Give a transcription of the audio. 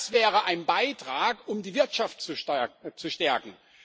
Das wäre ein Beitrag, um die Wirtschaft zu stärken.